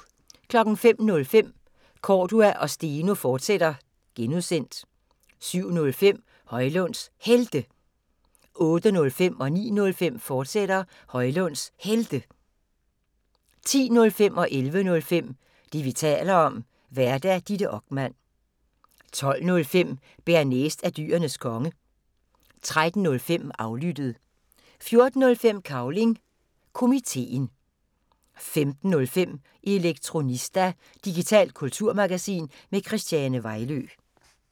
05:05: Cordua & Steno, fortsat (G) 07:05: Højlunds Helte 08:05: Højlunds Helte, fortsat 09:05: Højlunds Helte, fortsat 10:05: Det, vi taler om (G) Vært: Ditte Okman 11:05: Det, vi taler om (G) Vært: Ditte Okman 12:05: Bearnaise er Dyrenes Konge 13:05: Aflyttet 14:05: Cavling Komiteen 15:05: Elektronista – digitalt kulturmagasin med Christiane Vejlø